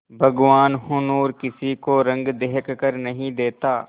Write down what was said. भगवान हुनर किसी को रंग देखकर नहीं देता